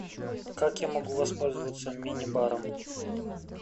как я могу воспользоваться мини баром